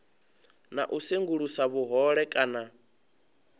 na u sengulusa vhuhole kana